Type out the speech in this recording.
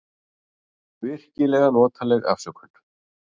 Virkilega notaleg afsökun.